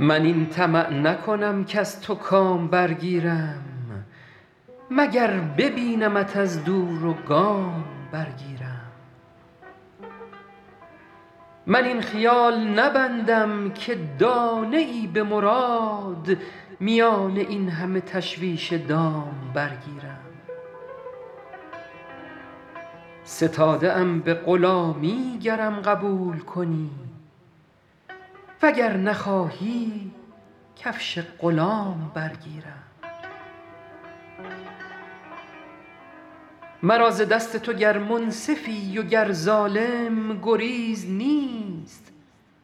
من این طمع نکنم کز تو کام برگیرم مگر ببینمت از دور و گام برگیرم من این خیال نبندم که دانه ای به مراد میان این همه تشویش دام برگیرم ستاده ام به غلامی گرم قبول کنی و گر نخواهی کفش غلام برگیرم مرا ز دست تو گر منصفی و گر ظالم گریز نیست